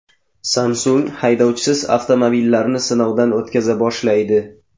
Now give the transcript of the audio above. Samsung haydovchisiz avtomobillarni sinovdan o‘tkaza boshlaydi.